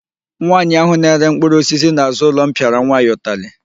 Nwaanyị ahụ na-ere mkpụrụosisi n'azụ ụlọ m pịara nwa ya ụtalị.